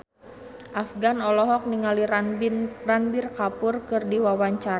Afgan olohok ningali Ranbir Kapoor keur diwawancara